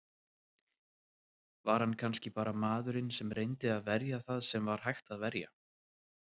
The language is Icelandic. Var hann kannski bara maðurinn sem reyndi að verja það sem var hægt að verja?